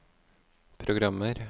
programmer